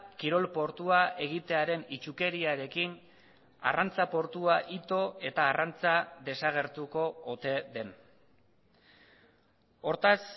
kirol portua egitearen itsukeriarekin arrantza portua ito eta arrantza desagertuko ote den hortaz